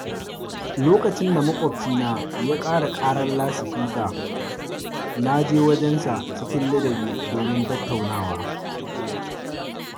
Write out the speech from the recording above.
Lokacin da maƙwabci na ya ƙara ƙarar lasifika, naje wajensa cikin ladabi domin tattaunawa